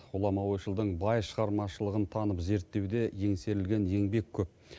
ғұлама ойшылдың бай шығармашылығын танып зерттеуде еңсерілген еңбек көп